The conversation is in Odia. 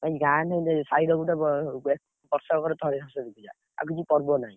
ଗାଁରେ ସାହିରେ ଗୋଟେ ବ, ବର୍ଷକରେ ଥରେ ସରସ୍ୱତୀ ପୂଜା। ଆଉ କିଛି ପର୍ବ ନାହିଁ।